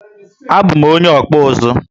A bu m onye okpu uzu